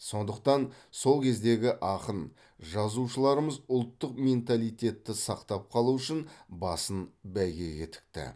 сондықтан сол кездегі ақын жазушыларымыз ұлттық менталитетті сақтап қалу үшін басын бәйгеге тікті